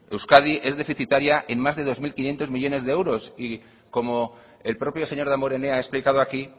euskadi es deficitaria en más de dos mil quinientos millónes de euros y como el propio señor damborenea ha explicado aquí